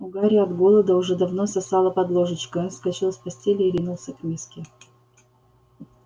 у гарри от голода уже давно сосало под ложечкой он вскочил с постели и ринулся к миске